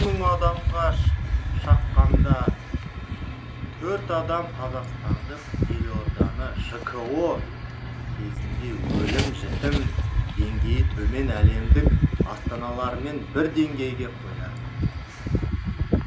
мың адамға шаққанда төрт адам қазақстандық елорданы жко кезінде өлім жітім деңгейі төмен әлемдік астаналармен бір деңгейге қояды